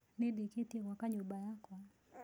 Nĩndĩkĩtie gwaka nyũmba yakwa